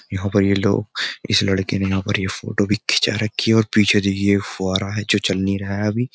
यहाँ पर यह लोग इस लड़के ने यहां पर ये फोटो भी खींचा रखी है और पीछे देखिये यह फुआरा है जो चल नहीं रहा है अभी।